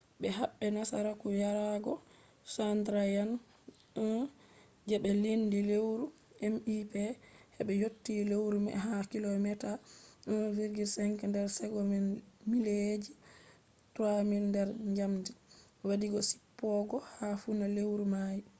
be habe nasaraku yarogo chandrayaan-1 je be lendi lewru mip hebe yotti lewru mai ha kilomeeta 1.5 nder segon mileji 3000 nder njamdi wa di jippogo ha funa lewru mai